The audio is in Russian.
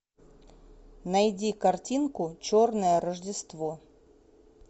найди картинку черное рождество